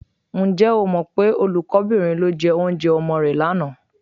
Ǹjẹ́ o mọ pé olùkọ́bìnrin ló jẹ oúnjẹ ọmọ rẹ lánàá?